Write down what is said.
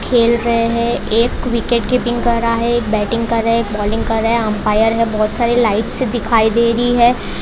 खेल रहे हैं एक विकेट कीपिंग कर रहा है एक बैटिंग कर रहे हैं एक बॉलिंग करें रहे अंपायर में बहुत सारी लाइट से दिखाई दे रही है।